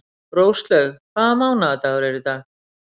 Róslaug, hvaða mánaðardagur er í dag?